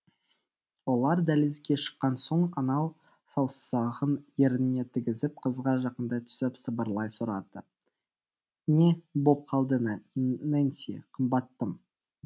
олар дәлізге шыққан соң анау саусағын ерніне тигізіп қызға жақындай түсіп сыбырлай сұрады не боп қалды нэнси қымбаттым